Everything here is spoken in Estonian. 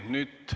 Selge.